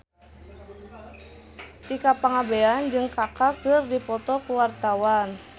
Tika Pangabean jeung Kaka keur dipoto ku wartawan